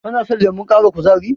Kano son lemon ƙara kuzari?